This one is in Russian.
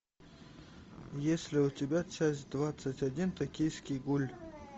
есть ли у тебя часть двадцать один токийский гуль